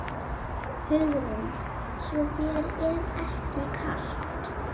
Hugrún: Svo þér er ekki kalt?